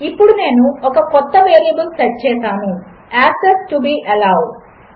ఇప్పుడునేనుఒకకొత్తవేరియబుల్సెట్చేసాను access to be allowed